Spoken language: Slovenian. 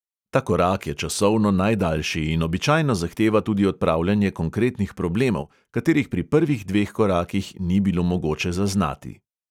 Ta korak je časovno najdaljši in običajno zahteva tudi odpravljanje konkretnih problemov, katerih pri prvih dveh korakih ni bilo mogoče zaznati.